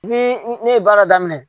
Ni ne ye baara daminɛ